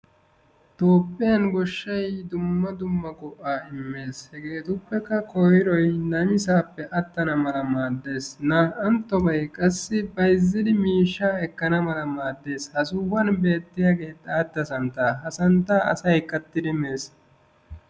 Tophphiyaan goshshay dumma dumma go"aa immes hegettuppekka koyiroy namissappe attana malla maades na"anttoy qasi bayziddi miishsha demamawu maaddes, ha sohuwaan beettiyayage xaatta santta santta asay kattiddi mees.